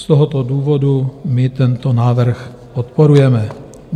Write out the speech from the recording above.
Z tohoto důvodu my tento návrh podporujeme.